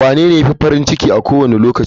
Wanene ya fi farin ciki a kowane lokaci?